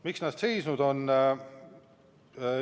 Miks see eelnõu seisnud on?